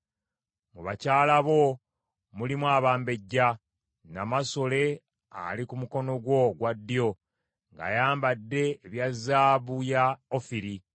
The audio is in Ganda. Mu bakyala bo mulimu abambejja; namasole ali ku mukono gwo ogwa ddyo ng’ayambadde ebya zaabu ya Ofiri.